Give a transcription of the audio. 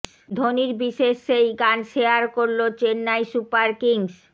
ধোনির বিশেষ সেই গান শেয়ার করল চেন্নাই সুপার কিংস